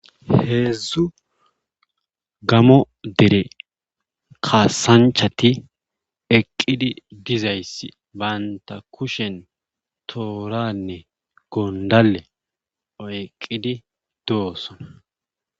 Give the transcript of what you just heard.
heedzdzu gamo dere kaasanchati eqqidi dizaysi bantta kushen tooranne gondale oyqqidi doosona.